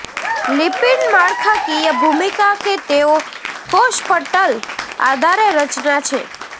lipid માળખાકીય ભૂમિકા કે તેઓ કોષ પટલ આધારે રચના છે